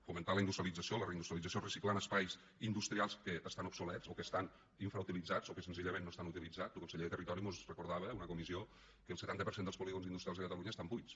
fomentar la industrialització la reindustrialització reciclant espais industrials que estan obsolets o que estan infrautilitzats o que senzillament no estan utilitzats lo conseller de territori mos recordava en una comissió que el setanta per cent dels polígons industrials de catalunya estan buits